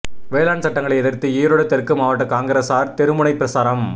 வேளாண் சட்டங்களை எதிர்த்து ஈரோடு தெற்கு மாவட்ட காங்கிரஸார் தெருமுனை பிரசாரம்